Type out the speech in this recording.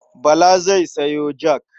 Bala zai sayo jak.